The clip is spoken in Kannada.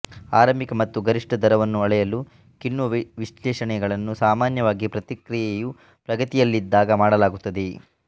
ಆರಂಭಿಕಮತ್ತು ಗರಿಷ್ಠ ದರವನ್ನು ಅಳೆಯಲು ಕಿಣ್ವ ವಿಶ್ಲೇಷಣೆಗಳನ್ನು ಸಾಮಾನ್ಯವಾಗಿ ಪ್ರತಿಕ್ರಿಯೆಯು ಪ್ರಗತಿಯಲ್ಲಿದ್ದಾಗ ಮಾಡಲಾಗುತ್ತದೆ